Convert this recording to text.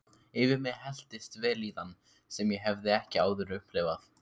Yfir mig helltist vellíðan sem ég hafði ekki áður upplifað.